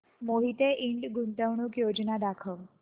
मोहिते इंड गुंतवणूक योजना दाखव